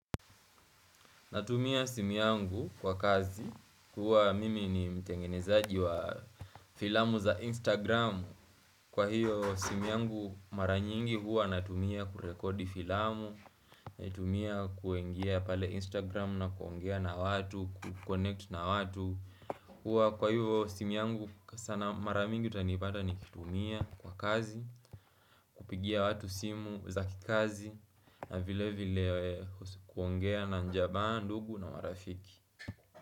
Natumia simu yangu kwa kazi, huwa mimi ni mtengenezaji wa filamu za Instagram Kwa hiyo simu yangu mara nyingi huwa natumia kurekodi filamu Natumia kuingia pale Instagram na kuongea na watu, kuconnect na watu huwa kwa hivyo simu yangu sana mara mingi utanipata nikitumia kwa kazi kupigia watu simu za kikazi na vile vile kuongea na jamaa ndugu na marafiki.